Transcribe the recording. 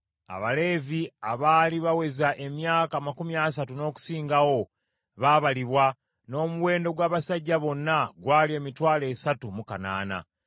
Abaleevi abaali baweza emyaka amakumi asatu n’okusingawo baabalibwa, n’omuwendo gw’abasajja bonna gwali emitwalo esatu mu kanaana.